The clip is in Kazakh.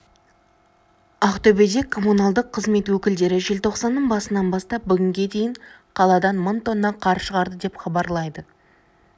ақтөбеде коммуналдық қызмет өкілдері желтоқсанның басынан бастап бүгінге дейін қаладан мың тонна қар шығарды деп хабарлайды